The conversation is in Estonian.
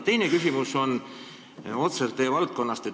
Teine küsimus on otseselt teie valdkonnast.